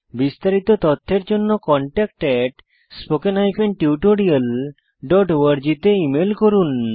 বিস্তারিত তথ্যের জন্য contactspoken tutorialorg তে ইমেল করুন